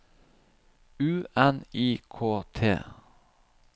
U N I K T